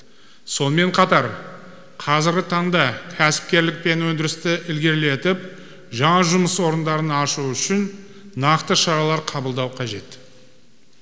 сонымен қатар қазіргі таңда кәсіпкерлік пен өндірісті ілгерілетіп жаңа жұмыс орындарын ашу үшін нақты шаралар қабылдау қажет